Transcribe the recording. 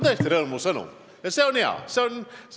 See on hea!